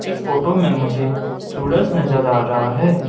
इस फोटो में मुझे सूरज नजर आ रहा है।